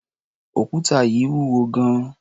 Òkúta yìí wúwo gan-an.